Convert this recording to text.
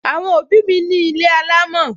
Àwọn òbí mi ní ilé alámò